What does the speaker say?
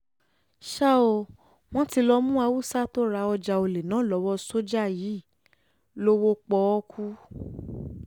ṣá ò wọ́n ti lọ́ọ́ mú haúsá tó ra ọjà ọ̀lẹ náà lọ́wọ́ sójà yìí lọ́wọ́ pọ́ọ́kú